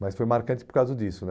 Mas foi marcante por causa disso, né?